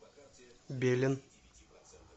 белен